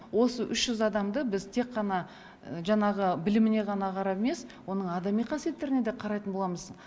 осы үш жүз адамды біз тек қана жаңағы біліміне ғана қарап емес оның адами қасиеттеріне де қарайтын боламыз